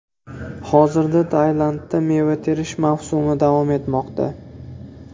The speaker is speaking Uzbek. Hozirda Tailandda meva terish mavsumi davom etmoqda.